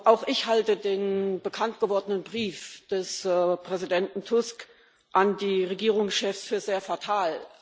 Auch ich halte den bekanntgewordenen Brief des Präsidenten Tusk an die Regierungschefs für sehr fatal.